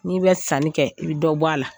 N'i bɛ sanni kɛ i bɛ dɔ bɔ a la